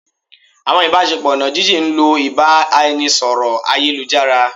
awọn ibasepo oná jin-jin ń lo ibaraẹnisọrọ ayélujará.